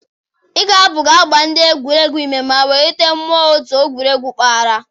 Ịgu abụ ga-agba ndị egwuregwu ume ma wulite mmụọ otu n'egwuregwu mpaghara.